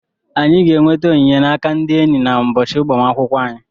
Anyị ga-enweta onyinye n'aka ndị enyị n'ụbọchị agbamakwụkwọ anyị.